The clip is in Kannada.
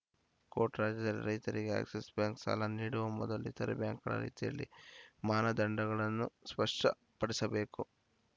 ಕೋಟ್‌ ರಾಜ್ಯದಲ್ಲಿ ರೈತರಿಗೆ ಆಕ್ಸಿಸ್‌ ಬ್ಯಾಂಕ್‌ ಸಾಲ ನೀಡುವ ಮೊದಲು ಇತರೆ ಬ್ಯಾಂಕ್‌ಗಳ ರೀತಿಯಲ್ಲಿ ಮಾನದಂಡಗಳನ್ನು ಸ್ಪಷಪಡಿಸಬೇಕು